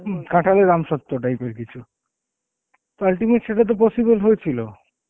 কাঁঠালের আমসত্ত্ব টাইপের কিছু তো ultimate সেটা তো possible হয়েছিল.